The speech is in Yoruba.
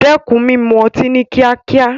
Dẹ́kun mímu ọtí ní kíákíá.